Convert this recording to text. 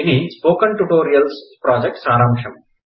ఇది spoken tutorial project సారాంశం